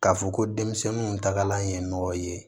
K'a fɔ ko denmisɛnninw tagalan ye nɔgɔ ye